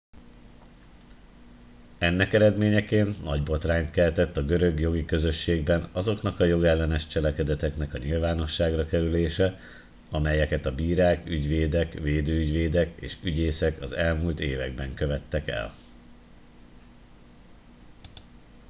ennek eredményeként nagy botrányt keltett a görög jogi közösségben azoknak a jogellenes cselekedetnek a nyilvánosságra kerülése amelyeket a bírák ügyvédek védőügyvédek és ügyészek az elmúlt években követtek el